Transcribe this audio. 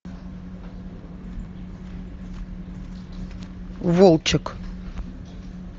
волчек